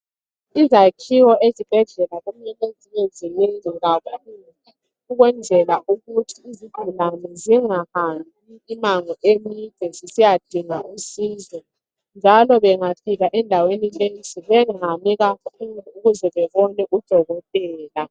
Izakhiwo ezibhedlela kumele zibe zinengi kakhulu ukwenzela ukuthi izigulane zingahambi imango emide zisiya dinga usizo, njalo bengafika endaweni lezo bengami kakhulu ukuze bebone udokotela.